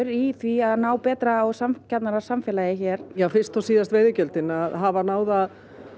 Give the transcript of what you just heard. í því að ná betra og sanngjarnara samfélagi hér já fyrst og síðast veiðigjöldin að hafa náð að